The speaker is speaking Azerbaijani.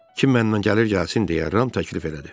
Kim mənlə gəlir gəlsin deyə Ram təklif elədi.